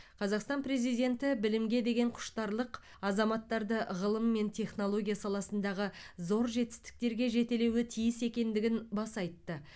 қазақстан президенті білімге деген құштарлық азаматтарды ғылым мен технология саласындағы зор жетістіктерге жетелеуі тиіс екендігін баса айтты